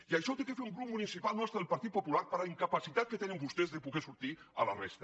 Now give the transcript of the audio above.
i això ho ha de fer un grup municipal nostre del partit popular per la incapacitat que tenen vostès de poder sortir a la resta